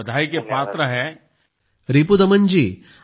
आपण निश्चितच यासाठी अभिनंदनास पात्र आहात